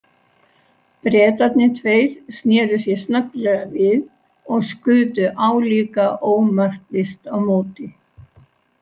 Bretarnir tveir sneru sér snögglega við og skutu álíka ómarkvisst á móti.